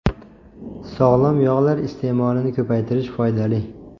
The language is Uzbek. Sog‘lom yog‘lar iste’molini ko‘paytirish foydali.